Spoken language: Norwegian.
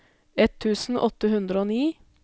ett tusen åtte hundre og ni